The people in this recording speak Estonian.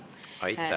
Aitäh, Riina!